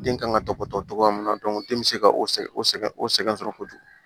Den kan ka tɔbɔtɔ cogoya min na den bɛ se ka o sɛ o sɛgɛn o sɛgɛn sɔrɔ kojugu